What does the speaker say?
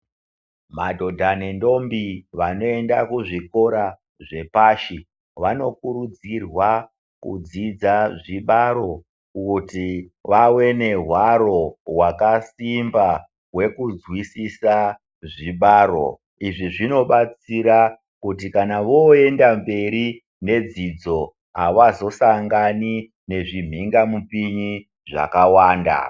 Madhodha nendombi vanoenda kuzvikora zvepashi vanokurudzirwa kudzidza zvibaro kuti vawe nehwaro hwakasimba hwekunzwisisa wezvibaro. Izvi zvinobatsira kuti vooenda mberi nedzidzo avazosangani nezvi mhinga mupinyi zvakawanda .